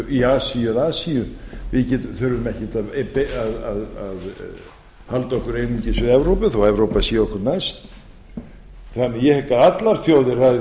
í evrópu eða asíu við þurfum ekkert að halda okkur einungis við evrópu þó að evrópa sé okkur næst ég hygg að